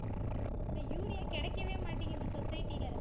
Urea கிடைக்கவே மாட்டேங்குது society ல.